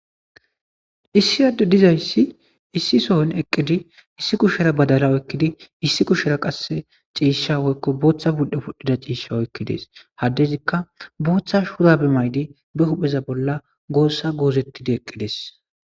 issi adde dizayssi issi sohon eqqidi issi kushera badala oykkidi issi kushera qasse ciisha woykko booththa pudhe pudhdhida ciisha oykkides. ha addezikka booththa shurabe mayidi be hupheza bolla goossa goozettidi eqqides.